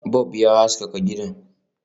Bub ya haskaka gidan